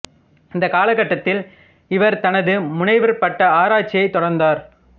இந்த காலகட்டத்தில் இவர் தனது முனைவர் பட்ட ஆராய்ச்சியைத் தொடர்ந்தார்